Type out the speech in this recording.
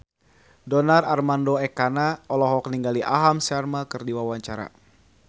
Donar Armando Ekana olohok ningali Aham Sharma keur diwawancara